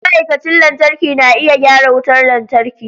Ma'aikacin lantarki na iya gyara wutar lantarki.